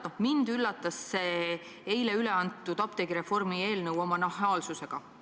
Mind väga üllatas see eile üle antud apteegireformi eelnõu oma nahaalsusega.